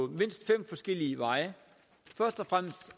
mindst fem forskellige veje først og fremmest